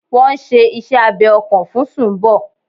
Wọ́n n ṣe iṣẹ́ abẹ ọkàn fún Sumbo